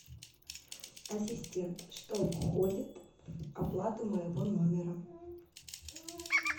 ассистент что входит в оплату моего номера